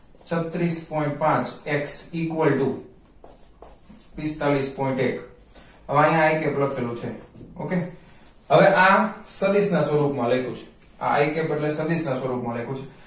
છાત્રીસ point પાંચ x equal to પિસ્તાલીસ point એક હવે આયા i cap લખેલું છે okay હવે આ સતિશ ના સ્વરૂપ માં લખ્યું છે આ i cap બદલે સતીસ ના સ્વરૂપ માં લખ્યું છે